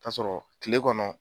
taa sɔrɔ kile kɔnɔ